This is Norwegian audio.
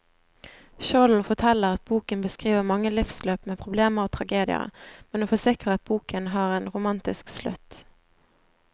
Skjolden forteller at boken beskriver mange livsløp med problemer og tragedier, men hun forsikrer at boken har en romantisk slutt.